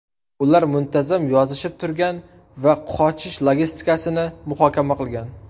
Ular muntazam yozishib turgan va qochish logistikasini muhokama qilgan.